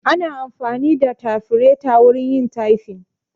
Ana amfani da tafireta wurin yin tyfin